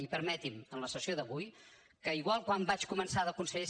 i permeti’m en la sessió d’avui que igual que quan vaig començar de conseller